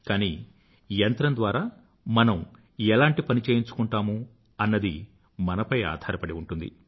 కానీ యంత్రం ద్వారా మనం ఎలాంటి పని చేయించుకుంటాము అన్నది మనపై ఆధారపడి ఉంటుంది